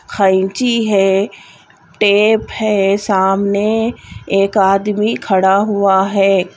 ख़ैची है टेप है सामने एक आदमी खड़ा हुआ है।